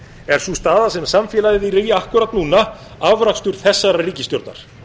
er sú staða sem samfélagið er í akkúrat núna afrakstur þessarar ríkisstjórnar